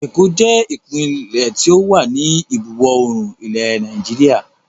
Èkó jẹ ìpínlẹ́ tí ó wà ní ìbuwọ̀ oòrùn ilẹ̀ Nàìjíríà